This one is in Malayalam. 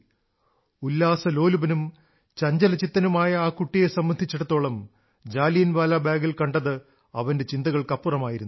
ഉല്ലാസലോലുപനും ചഞ്ചലചിത്തനുമായ ആ കുട്ടിയെ സംബന്ധിച്ചിടത്തോളം ജാലിയൻവാലാബാഗിൽ കണ്ടത് അവന്റെ ചിന്തകൾക്കപ്പുറമായിരുന്നു